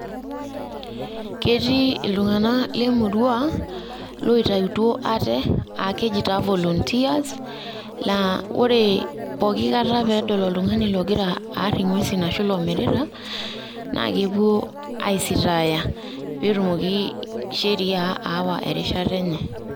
Ketii iltung'anak lemurua, loitautuo ate akeji taa volunteers la Ore pooki kata pedol oltung'ani logira aar ing'uesin ashu lomirita, na kepuo aisitaaya petumoki sheria aawa erishata enye.